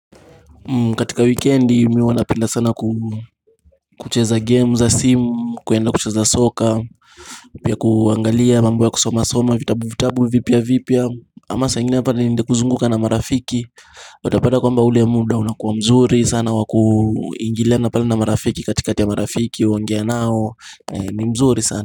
Katika wikendi mi huwanapinda sana kucheza game za simu kuenda kucheza soccer Pia kuangalia mambo ya kusoma soma vitabu vitabu vipya vipya ama sa ingine pala niende kuzunguka na marafiki Watapata kwamba ule muda unakuwa mzuri sana wa kuingilana pal na marafiki katika ya marafiki uonge nao ni mzuri sana.